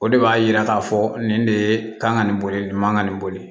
O de b'a yira k'a fɔ nin de ye kan ka nin boli nin man ka nin boli